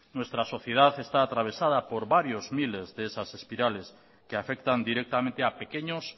nuestra sociedad está atravesada por varios miles de esas espirales que afectan directamente a pequeños